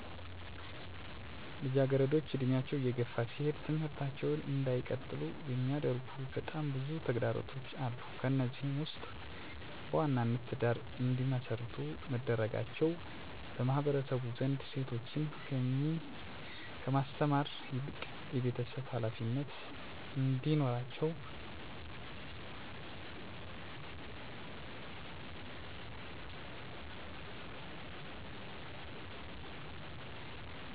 ልጃገረዶች እድሜያቸው እየገፋ ሲሄድ ትምህርታቸውን እንዳይቀጥሉ የሚያደርጉ በጣም ብዙ ተግዳሮቶች አሉ። ከነዚህም ውስጥ በዋናነት ትዳር እንዲመሰርቱ መደረጋቸው በማህበረሰቡ ዘንድ ሴቶችን ከማስተማር ይልቅ የቤተሰብ ሀላፊዎች እንዲሆኑ ልጆች እንዲወልዱ የቤተሰብ ጫና መኖር ከአቅም በላይ የቤት ውስጥ ስራ እንዲሰሩ መደረጋቸውና ሙሉ በሙሉ የቤቱን ሀላፊነት ከሴት ልጆች ላይ መሆኑ ይህ በሚሆንበት ጊዜ ትምህርታቸውን እንዳይቀጥሉ ይሆናሉ። ከመማር ይልቅ በስራ ሀላፊነት ጫና ውስጥ ስለሚሆኑ በትምህርታቸው እንዳይገፋ ይሆናሉ።